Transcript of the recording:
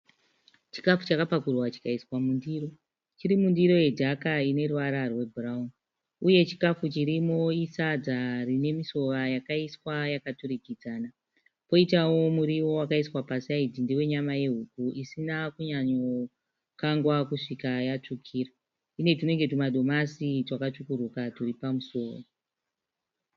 Chikafu chakapakura chikaisa mundiro. Chirimundiro yedhaka ineruvara rwebhurauni. Uye chikafu chirimo isadza rinemusuva yakaiswa yakaturikidzana . Poitawo muriwo wakaiswa pasaidhi ndewenyama yehuku isina kunyanyokangwa kusvika yatsvukira. Ine tunenge tumadomasi twakatsvukuruka turipamusoro.